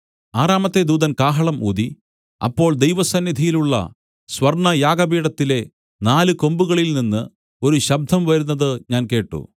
ആറാമത്തെ ദൂതൻ കാഹളം ഊതി അപ്പോൾ ദൈവസന്നിധിയിലുള്ള സ്വർണ്ണയാഗപീഠത്തിലെ നാല് കൊമ്പുകളിൽനിന്ന് ഒരു ശബ്ദം വരുന്നത് ഞാൻ കേട്ട്